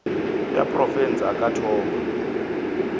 ya profense a ka thoma